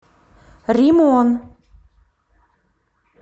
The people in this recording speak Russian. римон